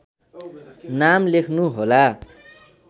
नाम लेख्नुहोला